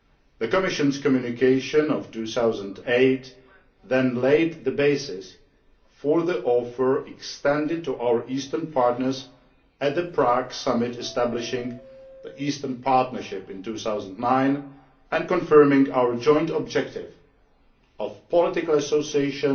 The Commission's Communication of 2008 then laid the basis for the offer extended to our eastern partners at the Prague Summit establishing the Eastern Partnership in 2009 and confirming our joint objective of political association